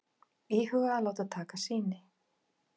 Íhuga að láta taka sýni